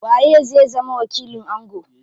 Waye zai zama wakilin ango?